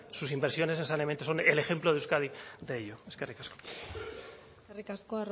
sus inversiones en saneamiento son el ejemplo de euskadi de ello eskerrik asko eskerrik asko